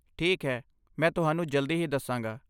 ਠੀਕ ਹੈ, ਮੈਂ ਤੁਹਾਨੂੰ ਜਲਦੀ ਹੀ ਦੱਸਾਂਗਾ।